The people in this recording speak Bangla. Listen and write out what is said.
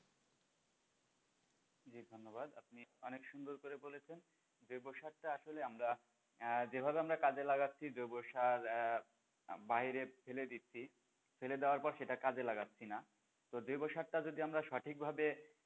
ধন্যবাদ, আপনি অনেক সুন্দর ভাবে বলেছেন জৈব সারটা আসলে আমরা যেভাবে আমরা কাজে লাগাচ্ছি জৈব সার আঃ আমরা বাইরে ফেলে দিচ্ছি ফেলে দেওয়ার পর সেটা কাজে লাগাচ্ছি না, তো জৈব সারটা যদি আমরা সঠিক ভাবে,